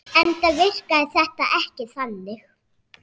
Enda virkaði þetta ekki þannig.